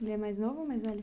Ele é mais novo ou mais velho?